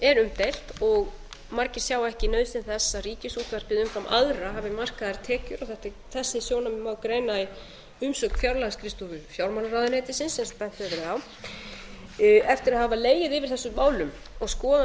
er umdeilt og margir sjá ekki nauðsyn þess að ríkisútvarpið umfram aðra hafi markaðar tekjur þessi sjónarmið má greina í umsögn fjárlagaskrifstofu fjármálaráðuneytisins eins og bent hefur verið á eftir að hafa legið yfir þessum málum og skoðað